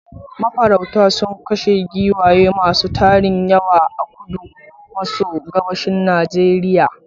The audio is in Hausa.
Mafaurauta sun kashe giwaye masu tarin yawa.a kudu maso gabashin Najeriya.